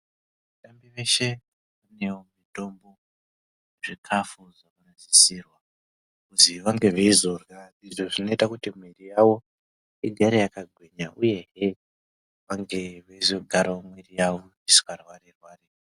Vatambi veshe vanewo mitombo yezvikafu zvakasisirwa kuzi vange veizorya . Izvo zvinoite kuti mwiri yavo vagare vakagwinya uyehe vange veizogarawo mwiri yawo isingarwarirwari.